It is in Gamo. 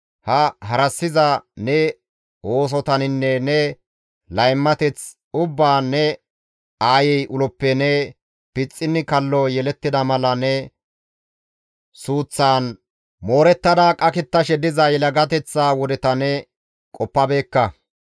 Ha harassiza ne oosotaninne ne laymateth ubbaan ne aayey uloppe ne pixxinni kallo yelettida mala ne suuththan moorettada qakettashe diza yelagateththa wodeta ne qoppabeekka.